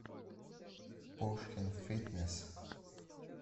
пушкин фитнес